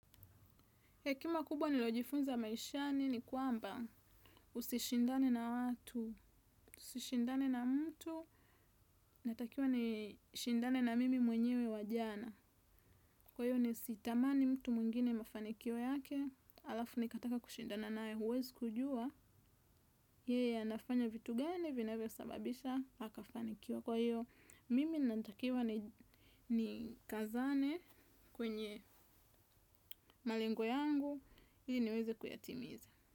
Hekima kubwa nilo jifunza maishani ni kwamba usishindane na watu, usishindane na mtu, natakiwa ni shindane na mimi mwenyewe wa jana. Kwa hiyo ni sitamani mtu mwingine mafanikio yake, alafu ni kataka kushindana naye, huwezi kujua, yeye anafanya vitu gani, vinavyo sababisha, akafanikiwa. Kwa hiyo, mimi natakiwa ni kazane kwenye malengo yangu, ili niweze kuyatimiza.